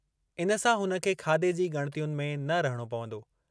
इन सां हुन खे खाधे जी ॻणितियुनि में न रहणो पवंदो।